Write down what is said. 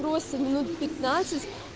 просто минут пятнадцать